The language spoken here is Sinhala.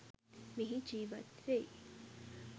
මෙහි ජීවත් වෙයි.